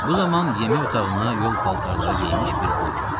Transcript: Bu zaman yemək otağına yol paltarları geyinmiş bir qul girdi.